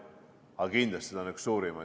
Aga kindlasti on see üks suurimaid.